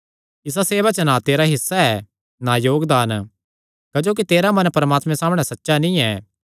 इसा सेवा च ना तेरा हिस्सा ऐ ना योगदान क्जोकि तेरा मन परमात्मे सामणै सच्चा नीं ऐ